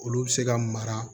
Olu bɛ se ka mara